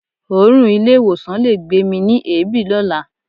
Òórùn ilé-ìwọ̀sàn le gbé mi ni èébì lọ́la.